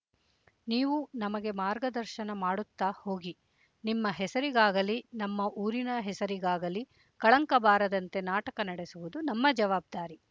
ನೀವು ನಮಗೆ ಮಾರ್ಗದರ್ಶನ ಮಾಡುತ್ತ ಹೋಗಿ ನಿಮ್ಮ ಹೆಸರಿಗಾಗಲಿ ನಮ್ಮ ಊರಿನ ಹೆಸರಿಗಾಗಲಿ ಕಳಂಕ ಬಾರದಂತೆ ನಾಟಕ ನಡೆಸುವುದು ನಮ್ಮ ಜವಾಬ್ದಾರಿ